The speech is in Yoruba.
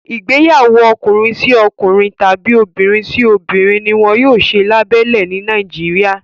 Igbeyawo Ọkùnrin sí ọkùnrin tàbi obìrin sí obìrin, ní wón yóò ṣe labélẹ ni Nàìjíríà